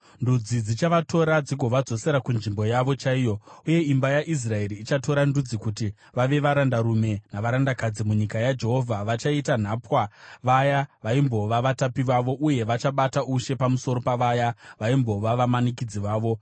Ndudzi dzichavatora dzigovadzosera kunzvimbo yavo chaiyo. Uye imba yaIsraeri ichatora ndudzi kuti vave varandarume navarandakadzi munyika yaJehovha. Vachaita nhapwa vaya vaimbova vatapi vavo, uye vachabata ushe pamusoro pavaya vaimbova vamanikidzi vavo.